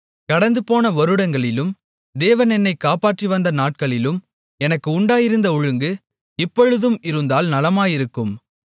கடந்துபோன வருடங்களிலும் தேவன் என்னைக் காப்பாற்றிவந்த நாட்களிலும் எனக்கு உண்டாயிருந்த ஒழுங்கு இப்பொழுது இருந்தால் நலமாயிருக்கும்